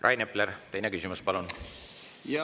Rain Epler, teine küsimus, palun!